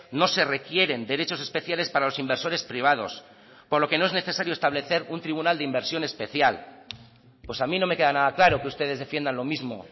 no se requieren derechos especiales para los inversores privados por lo que no es necesario establecer un tribunal de inversión especial pues a mí no me queda nada claro que ustedes defiendan lo mismo